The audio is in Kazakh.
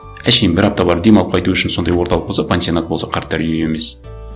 әншейін бір апта барып демалып қайту үшін сондай орталық болса пансионат болса қарттар үйі емес